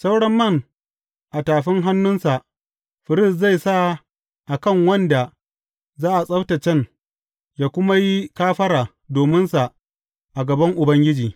Sauran man a tafin hannunsa firist zai sa a kan wanda za a tsabtaccen ya kuma yi kafara dominsa a gaban Ubangiji.